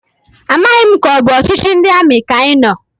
Amaghị m ka ọbụ ọchịchị ndị amị ka anyị nọ,